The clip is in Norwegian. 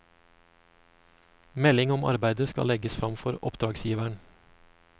Melding om arbeidet skal legges frem for oppdragsgiveren.